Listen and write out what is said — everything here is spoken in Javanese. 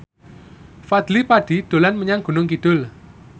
Fadly Padi dolan menyang Gunung Kidul